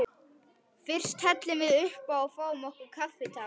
Fyrst hellum við uppá og fáum okkur kaffitár.